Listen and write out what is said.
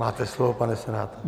Máte slovo, pane senátore.